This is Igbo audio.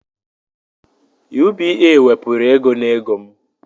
UBA wepuru ego n'ego m